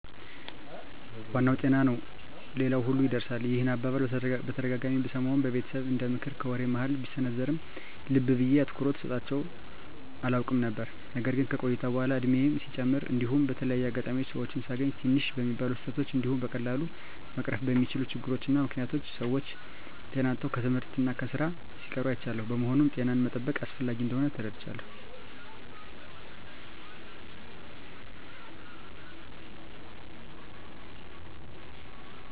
" ዋናው ጤና ነው ሌላው ሁሉ ይርሳል። " ይህን አባባል በተደጋጋሚ ብሰማውም በቤተሰብ እንደምክር ከወሬ መሀል ቢሰነዘርም ልብ ብየ አትኩሮት ሰጥቸው አላውቅም ነበር። ነገር ግን ከቆይታ በኃላ እድሜየም ሲጨምር እንዲሁም በተለያየ አጋጣሚ ሰወችን ሳገኝ ትንሽ በሚባሉ ስህተቶች እንዲሁም በቀላሉ መቀረፍ በሚችሉ ችግሮች እና ምክኒያቶች ሰወች ጤና አጥተው ከትምህርት እና ከስራ ሲቀሩ አይቻለሁ። በመሆኑም ጤናን መጠበቅ አስፈላጊ እንደሆን ተረድቻለሁ።